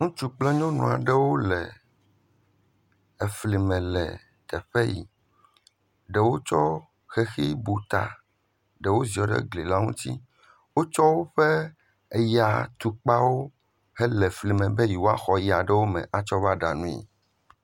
Ŋtsu kple nyɔnu aɖewo le efli me le teƒe yi. Ɖewo tsɔ xexi bu ta, ɖewo ziɔ ɖe gli la ŋuti. Wotsɔ woƒe eyatukpawo hele fli me be yewoaxɔ ya ɖe wo me atsɔ va ɖa nui.